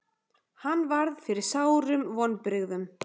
Hann varð fyrir sárum vonbrigðum.